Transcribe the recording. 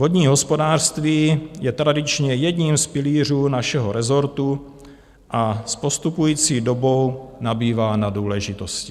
Vodní hospodářství je tradičně jedním z pilířů našeho rezortu a s postupující dobou nabývá na důležitosti.